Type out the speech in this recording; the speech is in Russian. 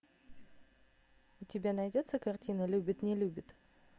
у тебя найдется картина любит не любит